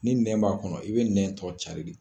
Ni nɛn b'a kɔnɔ i be nɛn tɔ cari de.